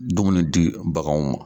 Dumuni di bagan ma